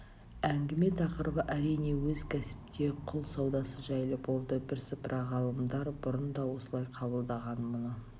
әңгіме тақырыбы әрине өз кәсіпте құл саудасы жайлы болды бірсыпыра ғалымдар бұрын да осылай қабылдаған мұны